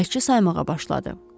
Bələdçi saymağa başladı.